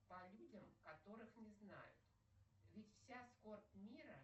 по людям которых не знают ведь вся скорбь мира